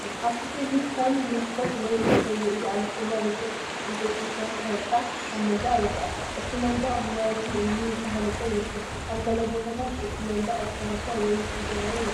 ኣብቲ ስእሊ ከም መስኮት ወይ መሰውኢ ዝኣመሰለ ርጉእ፡ ዕንጨይቲ ዝሰርሖ ህንጻ፡ ኣብ መንደቕ ይርአ። እቲ መንደቕ ብመሬትን እምንን ዝተሃንጸ ይመስል። ኣብ ገለ ቦታታት እቲ መንደቕ ዝፈረሰ ወይ ዝተሰብረ ይመስል።